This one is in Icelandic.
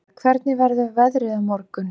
Danía, hvernig verður veðrið á morgun?